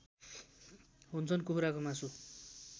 हुन्छन् कुखुराको मासु